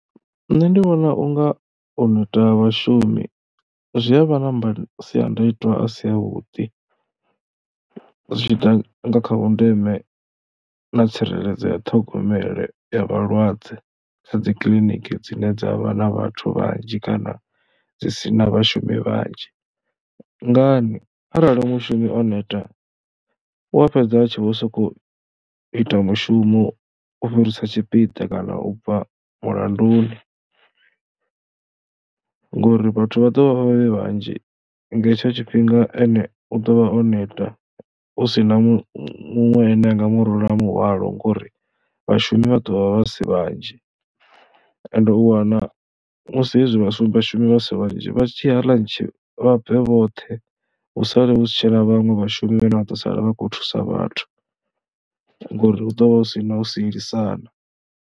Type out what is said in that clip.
Nṋe ndi vhona u nga u neta ha vhashumi zwi a vha na masiandaitwa a si avhuḓi, zwi tshi ḓa kha vhundeme na tsireledzo ya ṱhogomelo ya vhalwadze sa dzi kiḽiniki dzine dza vha na vhathu vhanzhi kana dzi si na vhashumi vhanzhi. Ngani, arali mushumi o neta u a fhedza a tshi vho sokou ita mushumo u fhirisa tshipiḓa kana u bva mulanduni ngori vhathu vha ḓo vha vhe vhanzhi, nga hetsho tshifhinga ene u ḓo vha o neta hu si na muṅwe ane a nga murula muhwalo ngori vhashumi vha ḓo vha vha si vhanzhi. Ende u wana musi hezwi vhashumi vha si vhanzhi, vha tshi ya ḽantshi vha bve vhoṱhe hu sale hu si tshena vhaṅwe vhashumi vhane vha ḓo sala vha khou thusa vhathu ngori hu ḓo vha hu si na u sielisana.